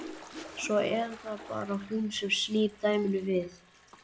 Svo er það bara hún sem snýr dæminu við.